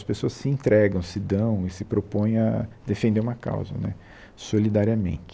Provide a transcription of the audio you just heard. As pessoas se entregam, se dão e se propõem a defender uma causa né solidariamente.